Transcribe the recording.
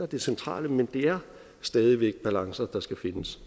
det centrale men det er stadig væk balancer der skal findes